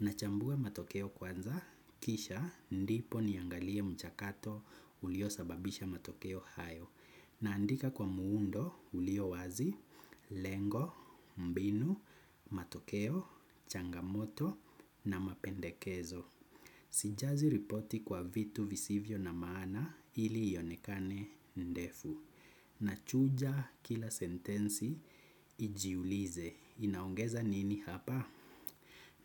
Nachambua matokeo kwanza kisha ndipo niangalie mchakato ulio sababisha matokeo hayo. Naandika kwa muundo, ulio wazi, lengo, mbinu, matokeo, changamoto na mapendekezo. Sijazi ripoti kwa vitu visivyo na maana ili ionekane ndefu. Nachuja kila sentensi, ijiulize. Inaongeza nini hapa?